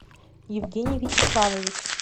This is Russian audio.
евгений вячеславович